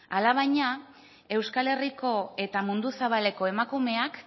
alabaina euskal herriko eta mundu zabaleko emakumeak